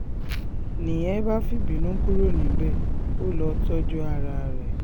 ni nìyẹn bá fìbínú kúrò níbẹ̀ ó lọ́ọ́ tọ́jú ara rẹ